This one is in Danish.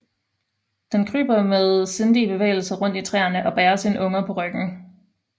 Den kryber med sindige bevægelser rundt i træerne og bærer sine unger på ryggen